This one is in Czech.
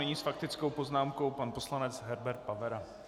Nyní s faktickou poznámkou pan poslanec Herbert Pavera.